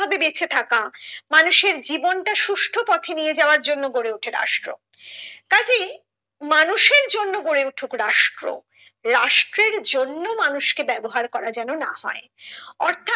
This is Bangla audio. ভাবে বেঁচে থাকা মানুষের জীবনটা সুষ্ঠ পথে নিয়ে যাওয়ার জন্য গড়ে ওঠে রাষ্ট্র তা যে মানুষের জন্য গড়ে উঠুক রাষ্ট্র রাষ্ট্রের জন্য মানুষকে ব্যবহার করা যেন না হয় অর্থাৎ